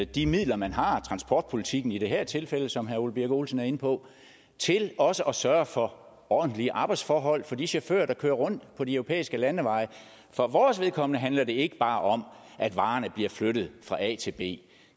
de midler man har og transportpolitikken i det her tilfælde som herre ole birk olesen er inde på til også at sørge for ordentlige arbejdsforhold for de chauffører der kører rundt på de europæiske landeveje for vores vedkommende handler det ikke bare om at varerne bliver flyttet fra a til b